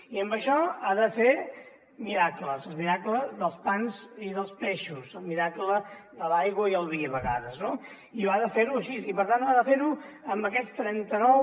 i amb això ha de fer miracles el miracle dels pans i dels peixos el miracle de l’aigua i el vi a vegades no i ha de fer ho així i per tant ha de fer ho amb aquests trenta nou